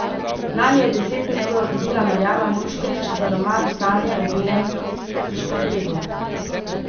Lani je desetnico dobila Marjana Moškrič za roman Sanje o belem štrpedu.